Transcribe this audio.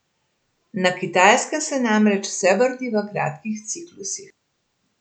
Na Kitajskem se namreč vse vrti v kratkih ciklusih.